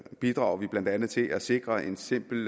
bidrager blandt andet til at sikre en simpel